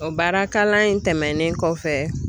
O baara kalan in tɛmɛnen kɔfɛ